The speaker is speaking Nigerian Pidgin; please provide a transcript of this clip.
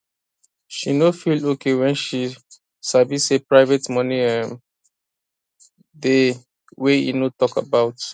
she no feel okay when she sabi say private money um dey wey e no talk about